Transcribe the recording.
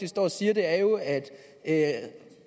står og siger er jo at at